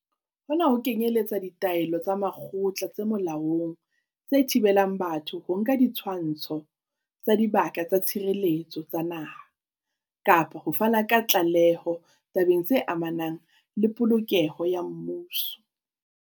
Hona ho kenyeletsa ditaelo tsa makgotla tse molaong tse thibelang batho ho nka ditshwantsho tsa Dibaka tsa Tshireletso tsa Naha, kapa ho fana ka tlaleho tabeng tse amanang le polokeho ya mmuso.